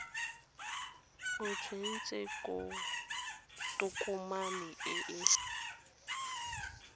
o tsentse tokomane e e